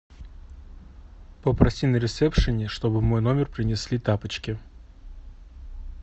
попроси на ресепшене что бы в мой номер принесои тапочки